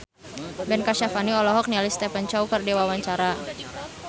Ben Kasyafani olohok ningali Stephen Chow keur diwawancara